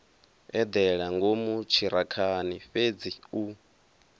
eḓela ngomu ṱhirakhani fhedzi u